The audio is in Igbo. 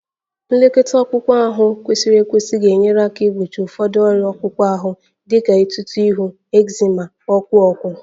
Nlekọta akpụkpọ anụ kwesịrị ekwesị ga-enyere aka gbochie ụfọdụ ọrịa akpụkpọ ahụ dị ka etuto ihu, ekzima, ọkụ ọkụ